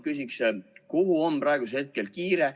Kuhu on praegu nii kiire?